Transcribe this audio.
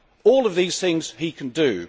All of these things he can do.